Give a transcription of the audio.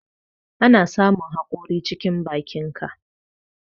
Ana samun hakori cikin bakinka.